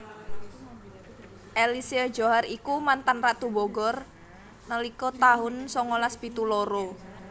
Alicia Johar iku mantan Ratu Bogor nalika taun songolas pitu loro